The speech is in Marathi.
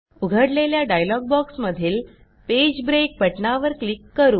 उघडलेल्या डायलॉग बॉक्समधील पेज ब्रेक बटणावर क्लिक करू